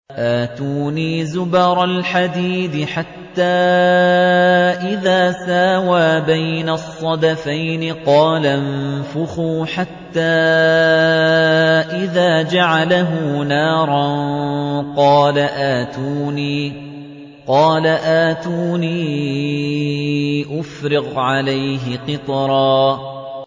آتُونِي زُبَرَ الْحَدِيدِ ۖ حَتَّىٰ إِذَا سَاوَىٰ بَيْنَ الصَّدَفَيْنِ قَالَ انفُخُوا ۖ حَتَّىٰ إِذَا جَعَلَهُ نَارًا قَالَ آتُونِي أُفْرِغْ عَلَيْهِ قِطْرًا